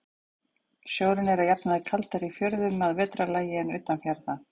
Sjórinn er að jafnaði kaldari í fjörðum að vetrarlagi en utan fjarða.